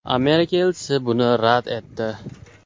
Amerika elchisi buni rad etdi.